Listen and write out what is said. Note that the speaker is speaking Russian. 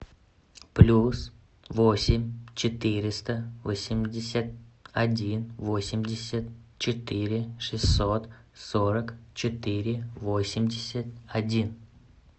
плюс восемь четыреста восемьдесят один восемьдесят четыре шестьсот сорок четыре восемьдесят один